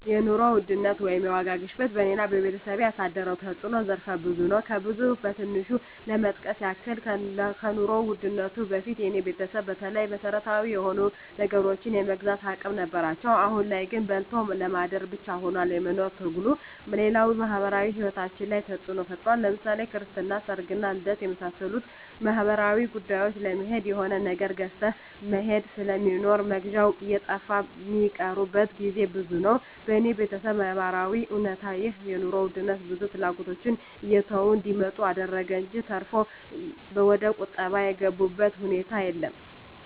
የኑሮ ውድነት ወይም የዋጋ ግሽበት በኔና በቤተሰቤ ያሳደረው ተጽኖ ዘርፈ ብዙ ነው። ከብዙ በትንሹ ለመጥቀስ ያክል ከኑሮ ውድነቱ በፊት የኔ ቤተሰብ በተለይ መሰረታዊ የሆኑ ነገሮችን የመግዛት አቅም ነበራቸው አሁን ላይ ግን በልቶ ለማደር ብቻ ሁኗል የመኖር ትግሉ፣ ሌላው ማህበራዊ ሂወታችን ላይ ተጽኖ ፈጥሯል ለምሳሌ ክርስትና፣ ሰርግና ልደት ከመሳሰሉት ማህበራዊ ጉዳዮች ለመሄድ የሆነ ነገር ገዝተህ መሄድ ስለሚኖር መግዣው እየጠፋ ሚቀሩበት ግዜ ብዙ ነው። በኔ በተሰብ ነባራዊ እውነታ ይህ የኑሮ ውድነት ብዙ ፍላጎቶችን እየተው እንዲመጡ አደረገ እንጅ ተርፎ ወደቁጠባ የገቡበት ሁኔታ የለም።